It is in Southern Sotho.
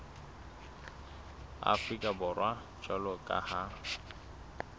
afrika borwa jwalo ka ha